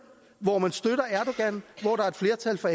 hvor man støtter erdogan hvor der er et flertal for